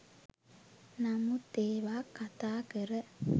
නමුත් ඒවා කතා කර